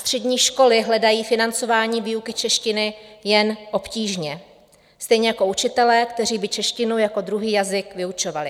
Střední školy hledají financování výuky češtiny jen obtížně, stejně jako učitele, kteří by češtinu jako druhý jazyk vyučovali.